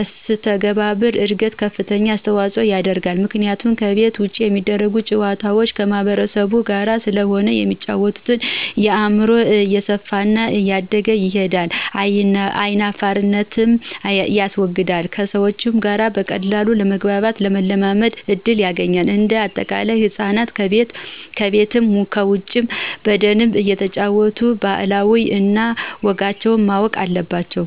መሰተጋብር እድገት ከፍተኛ አስተዋጽኦ ያደርጋሉ ምክንያቱም ከቤት ውጭ የሚደረጉ ጨዋታዎች ከማህበረሰቡ ጋር ስለሆነ የሚጫወተው አእምሮው እየሰፋና እያደገ ይሄዳል አይናፋርነትንም ያስወግዳል ከሰዎች ጋር በቀላሉ ለመግባባትና ለመላመድ እድል ያገኛል። እንደ አጠቃላይ ህፃናት ከቤትም ከውጭም በደንብ እየተጫወቱ ባህል እነ ወጋቸውን ማወቅ አለባቸው